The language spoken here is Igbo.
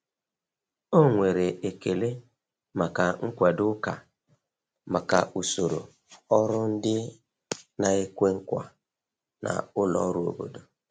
Ọ nwere ekele maka nkwado ụka maka usoro ọrụ ndị na-ekwe nkwa na ụlọ ọrụ obodo.